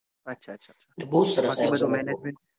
અચ્છા અચ્છા